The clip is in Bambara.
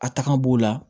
A taga b'o la